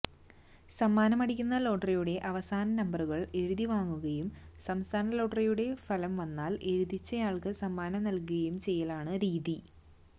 സമ്മാനമടിക്കുന്ന ലോട്ടറിയുടെ അവസാന നമ്പറുകള് എഴുതിവാങ്ങുകയും സംസ്ഥാന ലോട്ടറിയുടെ ഫലം വന്നാല് എഴുതിച്ചയാള്ക്ക് സമ്മാനം നല്കുകയും ചെയ്യലാണ് രീതി